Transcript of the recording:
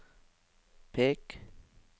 pek